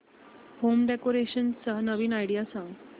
home decoration च्या नवीन idea सांग